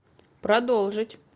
продолжить